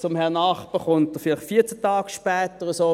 Zum Herrn Nachbar kommt er vielleicht 14 Tage später oder so.